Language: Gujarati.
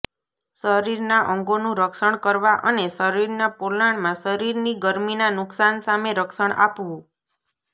શરીરના અંગોનું રક્ષણ કરવા અને શરીરના પોલાણમાં શરીરની ગરમીના નુકશાન સામે રક્ષણ આપવું